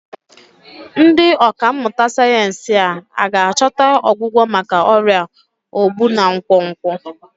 Ndị ọkà mmụta sayensị hà ga-achọta ọgwụgwọ maka ọrịa ogbu na nkwonkwo?